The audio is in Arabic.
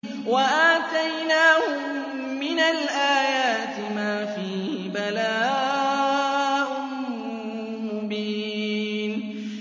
وَآتَيْنَاهُم مِّنَ الْآيَاتِ مَا فِيهِ بَلَاءٌ مُّبِينٌ